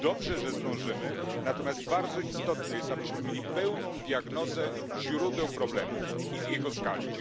Dobrze, że zdążymy, natomiast bardzo istotne jest, abyśmy mieli pełną diagnozę źródeł problemu i jego skali.